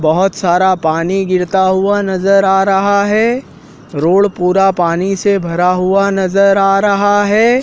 बहोत सारा पानी गिरता हुआ नजर आ रहा है रोड पूरा पानी से भरा हुआ नजर आ रहा है।